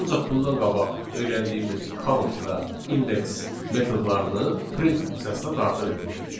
Ancaq bundan qabaq öyrəndiyimiz count və index metodlarını print funksiyasına daxil etmişdik.